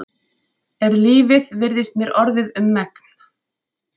Er lífið virðist mér orðið um megn.